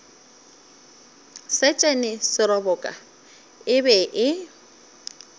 setšhene seroboka e be e